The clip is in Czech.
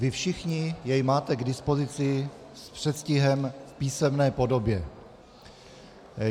Vy všichni jej máte k dispozici s předstihem v písemné podobě.